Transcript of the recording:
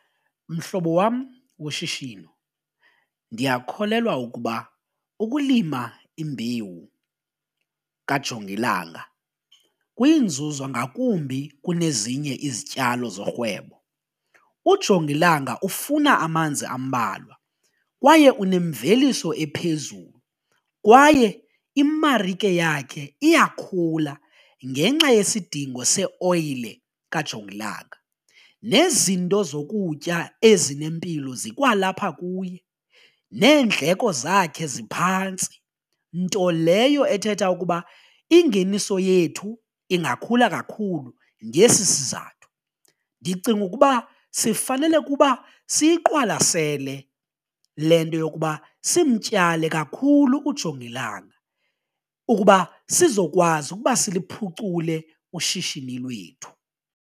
Mhlobo wam woshishino ndiyakholelwa ukuba ukulima imbewu kajongilanga kuyinzuzo ngakumbi kunezinye izityalo zorhwebo, ujongilanga ufuna amanzi ambalwa kwaye unemveliso ephezulu kwaye imarike yakhe iyakhula ngenxa yesidingo seoyile kajongilanga nezinto zokutya ezinempilo zikwalapha kuye, neendleko zakhe ziphantsi nto leyo ethetha ukuba ingeniso yethu ingakhula kakhulu ngesi sizathu. Ndicinga ukuba sifanele kuba siyiqwalasele le nto yokuba simtyale kakhulu ujongilanga ukuba sizokwazi ukuba siliphucule ushishini lwethu.